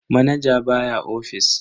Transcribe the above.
Manaja baya ofis.